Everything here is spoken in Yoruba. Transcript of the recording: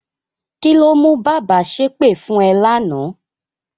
Kí ló mú bàbá ṣépè fún ẹ lánàá?